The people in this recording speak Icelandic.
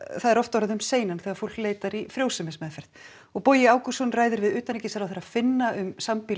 það er oft orðið um seinan þegar fólk loks leitar í frjósemismeðferð og Bogi Ágústsson ræðir við utanríkisráðherra Finna um